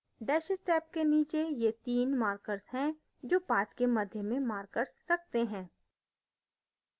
dashes tab के नीचे ये 3 markers हैं जो path के मध्य में markers रखते हैं